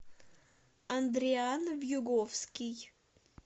андриан вьюговский